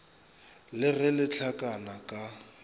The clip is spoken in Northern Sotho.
le ge le hlakana ka